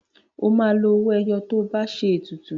O máa lo owó ẹyọ tó bá ṣe ètùtù.